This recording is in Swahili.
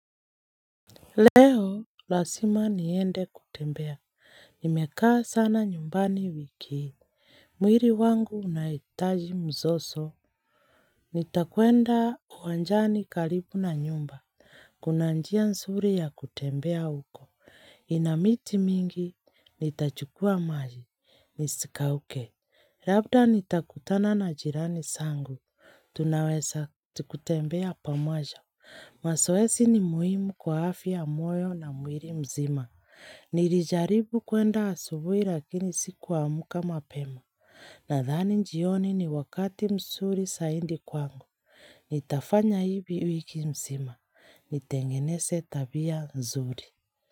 Leo, lazima niende kutembea. Nimekaa sana nyumbani wiki. Mwili wangu unahitaji mzoso. Nitakwenda uwanjani karibu na nyumba. Kuna njia nzuri ya kutembea huko. Inamiti mingi, nitachukua maji. Nisikauke. Labda nitakutana na jirani zangu. Tunaweza kutembea pamoja. Masoesi ni muhimu kwa afya ya moyo na mwili mzima. Nilijaribu kuenda asubui lakini sikuamka mapema. Nadhani njioni ni wakati msuri saindi kwangu. Nitafanya hivi wiki mzima. Nitengenese tabia nzuri.